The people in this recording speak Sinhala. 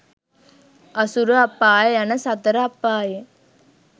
අසුර අපාය යන සතර අපායෙන්